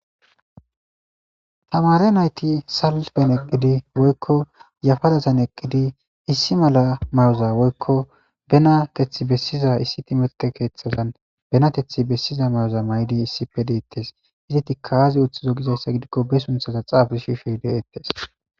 tamare nayti salus ben eqqidi woykko yafadazan eqqidi issi mala may7oza woykko bena kethi bessiza issi timete keeththazan benatethi bessiza mayoza may7di issipe deettes iziti kaaze uththizo gizayssa gidikko be sunthaza xaabi shife deettes